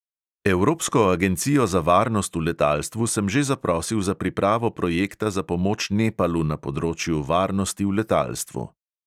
Evropsko agencijo za varnost v letalstvu sem že zaprosil za pripravo projekta za pomoč nepalu na področju varnosti v letalstvu.